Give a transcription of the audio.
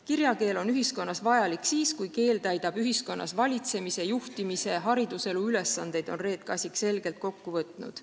"Kirjakeel on ühiskonnas vajalik siis, kui keel täidab ühiskonnas valitsemise, juhtimise ja hariduselu ülesandeid," on Reet Kasik selgelt kokku võtnud.